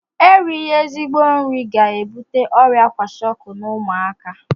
Erighi ezigbo nri ga-ebute ọrịa kwashiọkọ n'ụmụaka